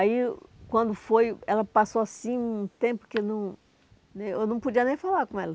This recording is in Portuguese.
Aí, quando foi, ela passou assim um tempo que eu não nem eu não podia nem falar com ela.